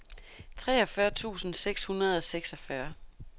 treogfyrre tusind seks hundrede og seksogfyrre